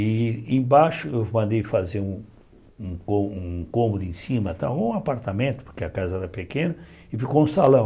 E embaixo eu mandei fazer um um co um cômodo em cima tal, ou um apartamento, porque a casa era pequena, e ficou um salão.